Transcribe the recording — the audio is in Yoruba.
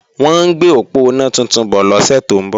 Wọ́n ń gbé òponá tuntun bọ̀ lọ́sẹ̀ tó ń bọ̀